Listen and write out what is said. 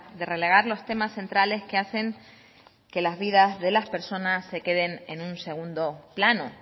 de relegar los temas centrales que hacen que las vidas de las personas se queden en un segundo plano